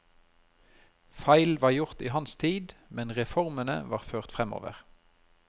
Feil var gjort i hans tid, men reformene var ført fremover.